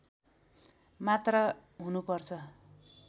मात्रा हुनुपर्छ